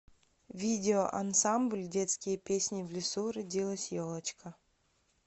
видео ансамбль детские песни в лесу родилась елочка